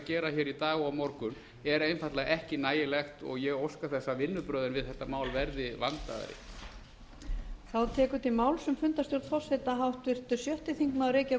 gera í dag og á morgun er einfaldlega ekki nægilegt og ég óska þess að vinnubrögðin við þetta mál verði vandaðri